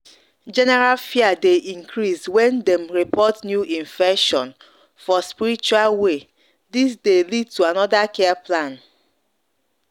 general fear dey increase when dem report new infection for spiritual waythis dey lead to another care plan.